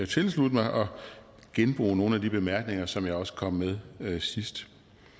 tilslutte mig og genbruge nogle af de bemærkninger som jeg også kom med med sidst